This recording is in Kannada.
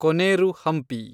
ಕೊನೇರು ಹಂಪಿ